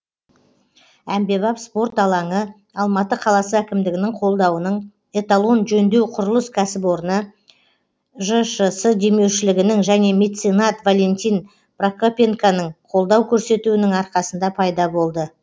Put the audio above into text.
әмбебап спорт алаңы алматы қаласы әкімдігінің қолдауының эталон жөндеу құрылыс кәсіпорны жшс демеушілігінің және меценат валентин прокопенконың қолдау көрсетуінің арқасында пайда болды